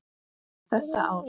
Þetta ár.